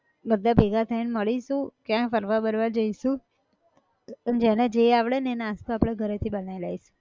બધા ભેગા થઇ ને મળીશુ ક્યાંક ફરવા બરવા જઇશુ, અન જેને જે આવડે ન એ નાસ્તો આપણે ઘરે થી બનાયી લાઈશું